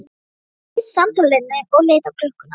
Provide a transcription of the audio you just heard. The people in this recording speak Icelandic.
Gunnar sleit samtalinu og leit á klukkuna.